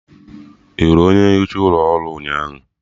Ị hụrụ onye nficha ụlọ ọrụ ụnyaahụ?